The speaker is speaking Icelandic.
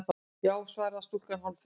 Já- svaraði stúlkan hálffeimin.